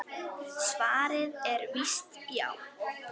Svarið er víst já.